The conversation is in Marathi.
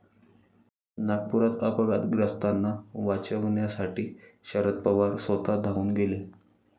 नागपुरात अपघातग्रस्तांना वाचवण्यासाठी शरद पवार स्वतः धावून गेले